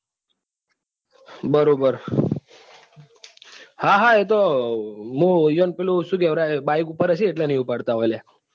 બરોબર હા હા મુ ઇયોને શું કેવાય bike પર હશે એટલે નહિ ઉપાડતા હોય.